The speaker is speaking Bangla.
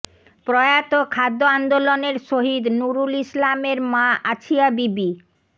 প্রয়াত খাদ্য আন্দোলনের শহিদ নুরুল ইসলামের মা আছিয়া বিবি